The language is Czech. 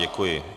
Děkuji.